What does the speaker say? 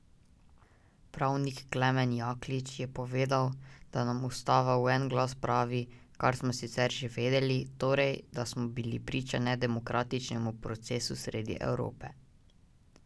Pravnik Klemen Jaklič je povedal, da nam ustava v en glas pravi, kar smo sicer že vedeli, torej, da smo bili priča nedemokratičnemu procesu sredi Evrope.